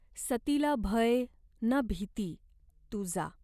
सतीला भय ना भीती. तू जा.